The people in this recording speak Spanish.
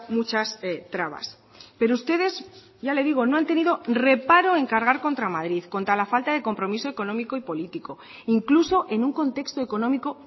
muchas trabas pero ustedes ya le digo no han tenido reparo en cargar contra madrid contra la falta de compromiso económico y político incluso en un contexto económico